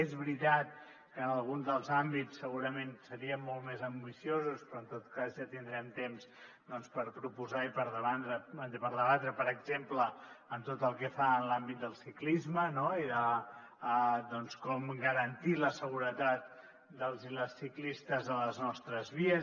és veritat que en algun dels àmbits segurament seríem molt més ambiciosos però en tot cas ja tindrem temps per proposar i per debatre per exemple tot el que fa a l’àmbit del ciclisme i de com garantir la seguretat dels i les ciclistes a les nostres vies